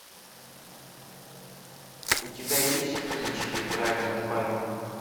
у тебя есть кинчики брайана де пальмы